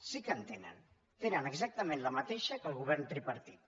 sí que en tenen tenen exactament la mateixa que el govern tripartit